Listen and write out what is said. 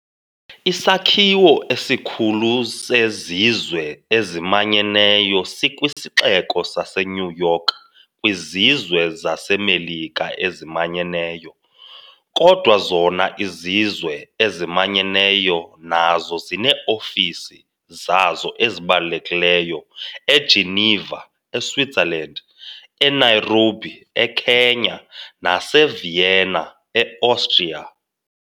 Isakhiwo esikhulu seZizwe eziManyeneyo sikwisixeko saseNewYork kwiZizwe zaseMelika eziManyeneyo, kodwa zona iZizwe eziManyeneyo nazo zinee-ofisi zazo ezibalulekileyo eGeneva, e-Switzerland, e-Nairobi, e-Kenya, nase-Vienna, e-Austria.